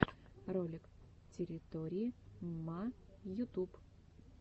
ролик территории мма ютуб